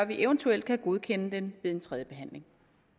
vi eventuelt kan godkende den ved en tredje behandling